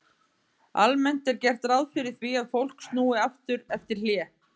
Almennt er gert ráð fyrir því að fólk snúi aftur eftir hlé.